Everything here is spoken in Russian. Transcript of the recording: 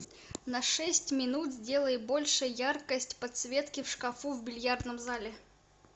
на шесть минут сделай больше яркость подсветки в шкафу в бильярдном зале